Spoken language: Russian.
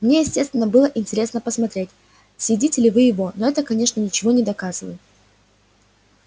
мне естественно было интересно посмотреть съедите ли вы его но это конечно ничего не доказывает